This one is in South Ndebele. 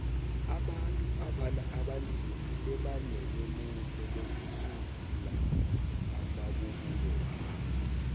abantu abanzima sebanelemuko lokusungula amabubulo wabo